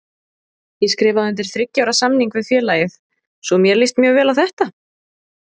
Ég skrifaði undir þriggja ára samning við félagið svo mér líst mjög vel á þetta.